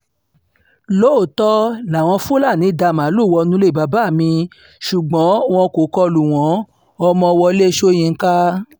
lóòótọ́ làwọn fúlàní dá màálùú wọnú ilé bàbá mi ṣùgbọ́n wọn kò kọ lù wọ́n- ọmọ wọlé sọ̀yìnkà